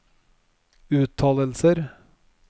uttalelser